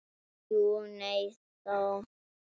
Jú og nei og þó.